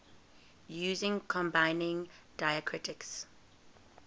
using combining diacritics